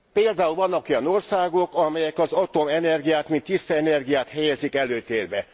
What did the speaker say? Például vannak olyan országok, amelyek az atomenergiát mint tiszta energiát helyezik előtérbe.